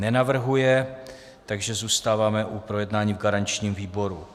Nenavrhuje, takže zůstáváme u projednání v garančním výboru.